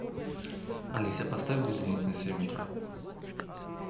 алиса поставь будильник на семь утра